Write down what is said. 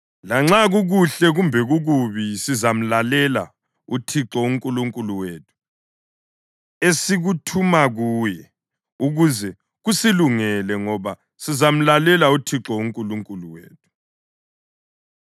Lanxa kukuhle kumbe kukubi sizamlalela uThixo uNkulunkulu wethu esikuthuma kuye, ukuze kusilungele, ngoba sizamlalela uThixo uNkulunkulu wethu.”